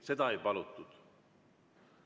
Seda ei palutud.